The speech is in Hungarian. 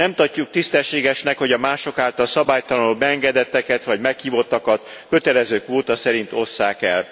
Nem tartjuk tisztességesnek, hogy a mások által szabálytalanul beengedetteket, vagy meghívottakat kötelező kvóta szerint osszák el.